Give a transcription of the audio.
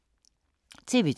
TV 2